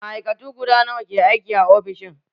Ma'aikatu guda nawa ke aiki a ofishin?